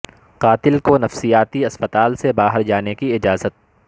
قاتل کو نفسیاتی اسپتال سے باہر جانے کی اجازت